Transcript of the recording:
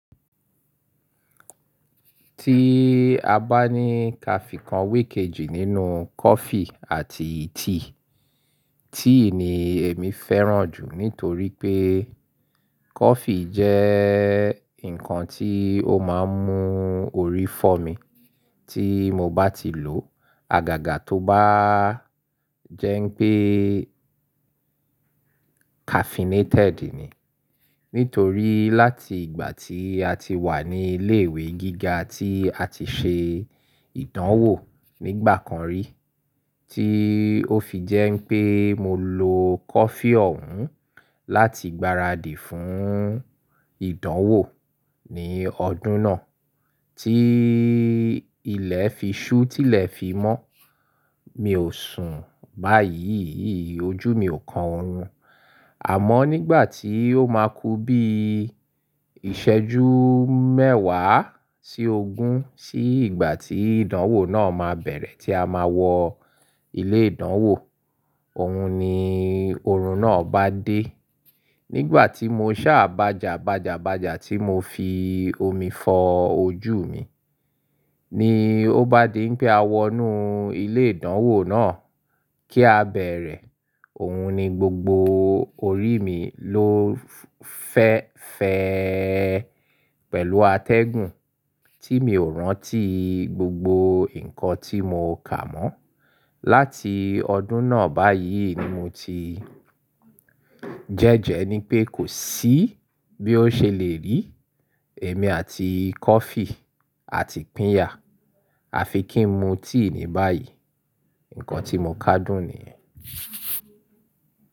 Tí a bá ní kàfì kan we íkẹ́jì nínú coffee àti tea, tea ni èmi fẹ́ràn jù nítorí pé coffee jẹ́ nǹkan tí ó máa ń mú orí fọ́ mi tí mo bá ti lò. Agaga to ba jẹ n pe caffeinated ni nítorí láti ìgbà tí a ti wà ní ilé ìwé gíga tí a ti ṣe ìdánwò nígbà kan rí tí ó fi jẹ́ pé mo lo coffee ọ̀hún láti gbáradì fún ìdánwò ní ọdún náà tí ilẹ̀ fi ṣú tí ilẹ̀ fi mọ́. Mi ò sùn báyìí, ojú mi ò kan òórùn. Àmọ́ nígbà tí ó máa ku bí ìṣẹ́jú mẹ́wàá sí ogún sí ìgbà tí ìdánwò náà máa bẹ̀rẹ̀ tí a máa wọ ilé ìdánwò, òun ni oorun náà bá dé. Nígbà tí mo ṣá bàjà bàjà bàjà tí mo fi omi fọ ojú mi ni ó bá di pé a wọnú ilé ìdánwò náà kí a bẹ̀rẹ̀, òun ni gbogbo orí mi ló fẹ́ fẹ́ pẹ̀lú atẹ́gùn tí mi ò rántí gbogbo nǹkan tí mo kà mọ́. Láti ọdún náà báyìí ni mo ti jẹ́jẹ́ ní pé kò sí bí ó ṣe lè rí èmi àti coffee àti pínyà. A fi kí n mu tea ni báyìí, nǹkan tí mo kádùn nìyẹn.